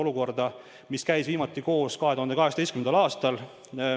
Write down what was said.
Nõukogu käis viimati koos 2018. aastal.